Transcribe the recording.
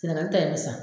Senaŋani ta in san